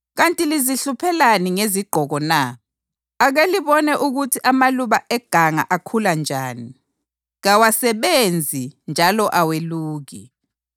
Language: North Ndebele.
Kanti lizihluphelani ngezigqoko na? Ake libone ukuthi amaluba eganga akhula njani. Kawasebenzi njalo aweluki.